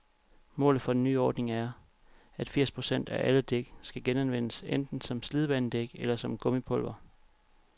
Målet for den nye ordning er, at firs procent af alle dæk skal genanvendes, enten som slidbanedæk eller som gummipulver.